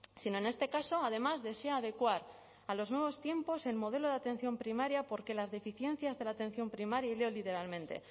sino en este caso además desea adecuar a los nuevos tiempos el modelo de atención primaria porque las deficiencias de la atención primaria y leo literalmente